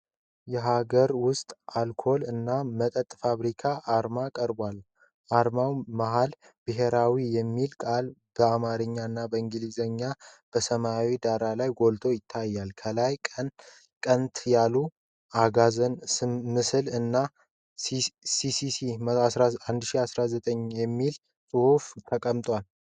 የሀገር ውስጥ የአልኮል እና መጠጥ ፋብሪካ አርማ ቀርቧል። የአርማው መሀል "ብሔራዊ" የሚለው ቃል በአማርኛ እና በእንግሊዘኛ በሰማያዊ ዳራ ላይ ጎልቶ ይታያል። ከላይ ቀንተ የያዘ አጋዘን ምስል እና "SINCE 1906" የሚለው ጽሑፍ ተቀምጧል።